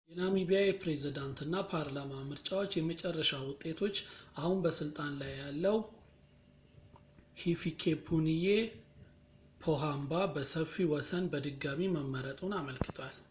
የናሚቢያ የፕሬዝዳንት እና ፓርላማ ምርጫዎች የመጨረሻ ውጤቶች አሁን በስልጣን ላይ ያለው ሂፊኬፑንዬ ፖሃምባ በሰፊ ወሰን በድጋሚ መመረጡን አመልክቷል